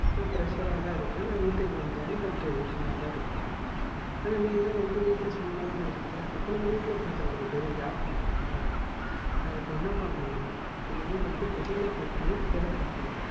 நா pressure ஆ தான் இருக்கன் நா வீட்டுக்கு வந்தயோடனே நா tension ஆ தா இருப்பன். ஆனா நீலாம் வந்து வீட்டுல சும்மாதான இருக்க அப்போ வீட்டுல பாக்குறதுக்கு பேர் job இல்லையா? அதுக்கு என்ன பண்ணனும் நம்ப இனிமே வந்து வெளில போய் வேலை பாக்கனும்.